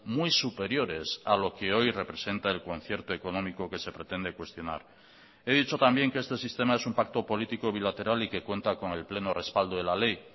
muy superiores a lo que hoy representa el concierto económico que se pretende cuestionar he dicho también que este sistema es un pacto político bilateral y que cuenta con el pleno respaldo de la ley